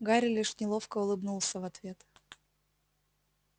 гарри лишь неловко улыбнулся в ответ